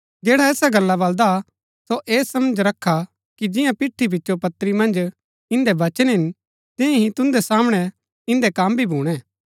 जैडा ऐसा बलदा हा सो ऐह समझ रखा कि जियां पिठी पिचो पत्री मन्ज इन्दै वचन हिन तियां ही तुन्दै सामणै इन्दै कम भी भूणै